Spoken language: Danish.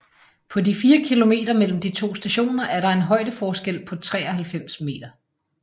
På de 4 km mellem de to stationer er der en højdeforskel på 93 meter